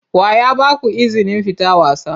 Wa ya ba ku izinin fita wasa?